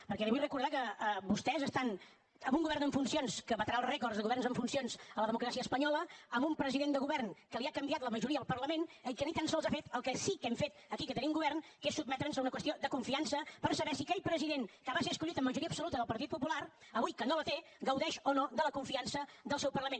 perquè li vull recordar que vostès estan amb un govern en funcions que batrà el rècord de governs en funcions a la democràcia espanyola amb un president de govern que li ha canviat la majoria al parlament i que ni tan sols ha fet el que sí que hem fet aquí que tenim govern que és sotmetre’ns a una qüestió de confiança per saber si aquell president que va ser escollit amb majoria absoluta del partit popular avui que no la té gaudeix o no de la confiança del seu parlament